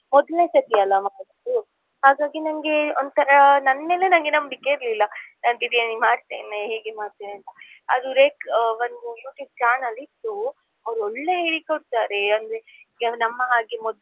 ಮೊದ್ಲ್ನೆ ಸರ್ತಿಯಲ್ಲ ಮಾಡುದು ಹಾಗಾಗಿ ನಂಗೆ ಒಂತರಾ ನನ್ಮೇಲೇನೇ ನಂಬಿಕೆ ಇರ್ಲಿಲ್ಲಾ ನಾನ್ biriyani ಮಾಡ್ತೇನೆ ಹೇಗೆ ಮಾಡ್ತೇನೆ ಅಂತ. ಅದು ಒಂದು YouTube channel ಇತ್ತು ಅವ್ರು ಒಳ್ಳೆ ಹೇಳಿಕೊಡ್ತಾರೆ ಅಂದ್ರೆ ನಮ್ಮ ಹಾಗೆ ಮೊದ್ಲೇ.